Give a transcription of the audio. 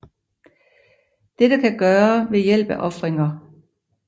Dette kan gøre ved hjælp af ofringer